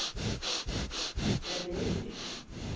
Er munur?